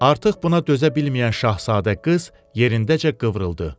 Artıq buna dözə bilməyən şahzadə qız yerindəcə qıvrıldı.